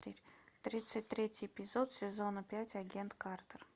тридцать третий эпизод сезона пять агент картер